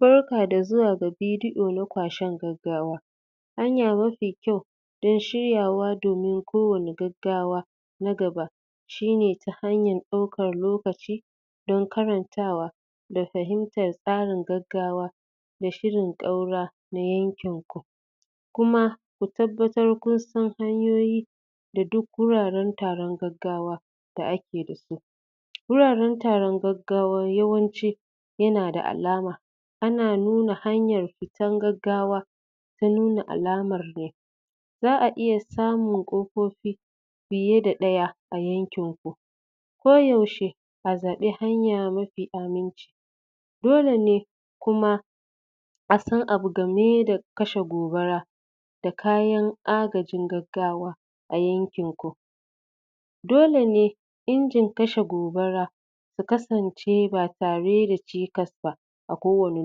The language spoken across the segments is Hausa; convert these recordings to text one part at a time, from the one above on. Barka da zuwa ga bidiʼo na kwashen gaggawa hanya mafi kyau don shiryawa domin kowani gaggawa na gaba shine hanyar ɗaukan lokaci don karantawa da fahimtar tsarin gaggawa da shirin ƙaura na yankinku Kuma ku tabbatar kunsan hanyoyi da duk wuraren taron gaggawa akeda su wuraren taron gaggawa yawanci yanada alama ana nuna hanyar fitan gaggawa ta nuna alamar ne zaʼa iya samun ƙofofi fiyeda daya a yankinku koyaushe a zabi hanya mafi aminci dolene kuma asan abu gameda kashe gobara da kayan agajin gaggawa a yankinku dole ne injin kashe gobara ta kasance ba tareda cikas ba a kowane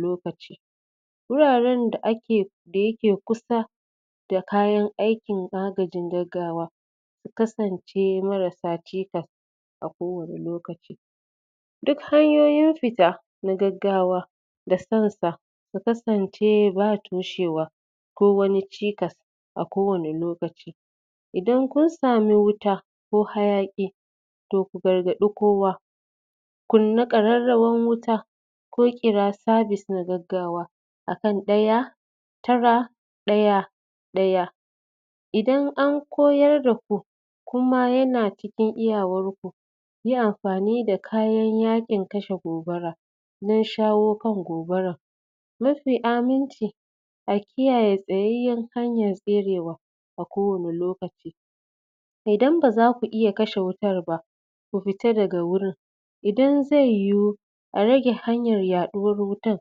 lokaci wurarenda dayake kusa da kayan aikin agajin gaggawa ya kasance marasa cikas a kowane lokaci duk hanyoyin fita na gaggawa da? Ya kasance ba toshewa ko Wani cikas a kowani lokaci Idan kunsami wuta ko hayaƙi to ku gargadi kowa kunna kararrawan wuta ko kira sabis na gaggawa akan ɗaya tara ɗaya ɗaya Idan an koyar daku Kuma yana cikin iyawarku yi anfani da kayan yakin kashe gobara ] don shawo kan gobaran mafi aminci kiyaye tsayayyen hanyan tserewa a kowani lokaci Idan bazaku iya kashe wutan ba ku fita daga wurin Idan zai yiwu a rage hanyar yaɗuwar wutan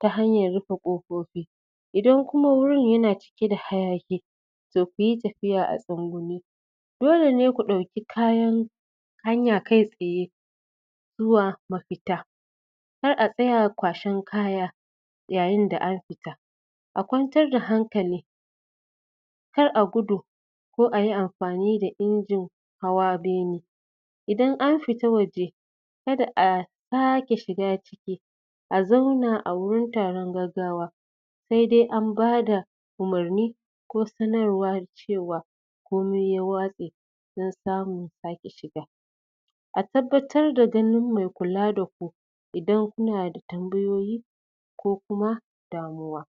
ta hanyan rufe kofofi Idan Kuma wurin yana cike da hayaƙi toh kuyi tafiya a tsugunne dolene ku ɗauki hanya hanya kai tsaye zuwa mafita kar a tsaya kwashe kaya yayinda ake fita ku kwantarda hankali kar Ayi gudu ko Ayi anfani da injin hawa bene Idan an fita waje kada a sake shiga ciki a zauna a wurin taron gaggawa saidai anbada umurni ko sanarwa cewa komi ya watse don samun sake shiga, a tabbatarda ganin mai kula da ku Idan kunada tambayoyi ko Kuma damuwa.